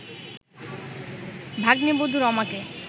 ভাগ্নেবধূ রমাকে